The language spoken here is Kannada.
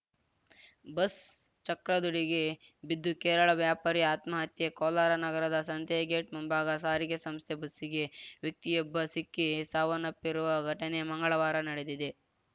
ಬಸ್‌ ಚಕ್ರದಡಿಗೆ ಬಿದ್ದು ಕೇರಳ ವ್ಯಾಪಾರಿ ಆತ್ಮಹತ್ಯೆ ಕೋಲಾರ ನಗರದ ಸಂತೇಗೇಟ್‌ ಮುಂಭಾಗ ಸಾರಿಗೆ ಸಂಸ್ಥೆ ಬಸ್ಸಿಗೆ ವ್ಯಕ್ತಿಯೊಬ್ಬ ಸಿಕ್ಕಿ ಸಾವನ್ನಪ್ಪಿರುವ ಘಟನೆ ಮಂಗಳವಾರ ನಡೆದಿದೆ